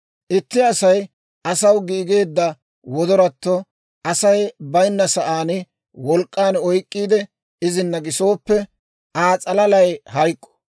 «Itti Asay asaw giigeedda wodoratto Asay bayinna sa'aan wolk'k'an oyk'k'iide, izina gisooppe, Aa s'alalay hayk'k'o.